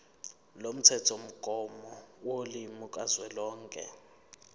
lomthethomgomo wolimi kazwelonke